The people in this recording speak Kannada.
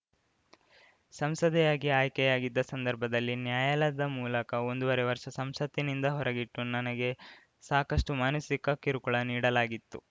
ಸಂಸದೆಯಾಗಿ ಆಯ್ಕೆಯಾಗಿದ್ದ ಸಂದರ್ಭದಲ್ಲಿ ನ್ಯಾಯಾಲಯದ ಮೂಲಕ ಒಂದೂವರೆ ವರ್ಷ ಸಂಸತ್ತಿನಿಂದ ಹೊರಗಿಟ್ಟು ನನಗೆ ಸಾಕಷ್ಟುಮಾನಸಿಕ ಕಿರುಕುಳ ನೀಡಲಾಗಿತ್ತು